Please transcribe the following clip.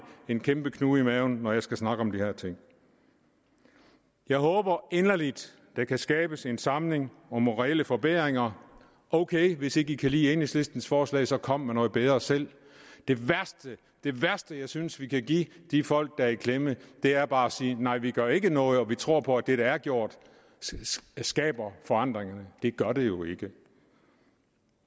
en kæmpe knude i maven når jeg skal snakke om de her ting jeg håber inderligt at der kan skabes en samling om reelle forbedringer ok hvis man ikke kan lide enhedslistens forslag så kom med noget bedre selv det værste jeg synes vi kan give de folk der er i klemme er bare at sige nej vi gør ikke noget og vi tror på at det der er gjort skaber forandringerne det gør det jo ikke